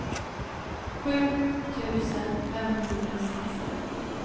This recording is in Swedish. sju tusen femhundrasexton